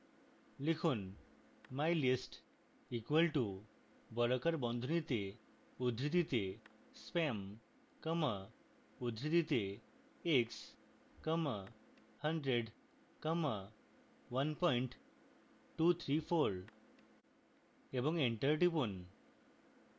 লিখুন